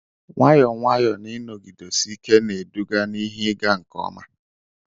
nwayọ nwayọ na ịnọgidesike na-eduga na ihe ịga nke ọma